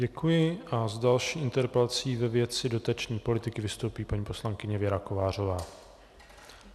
Děkuji a s další interpelací ve věci dotační politiky vystoupí paní poslankyně Věra Kovářová.